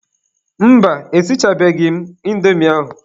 Mba, esichabeghị m indomi ahụ.